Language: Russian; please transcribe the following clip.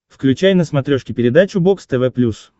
включай на смотрешке передачу бокс тв плюс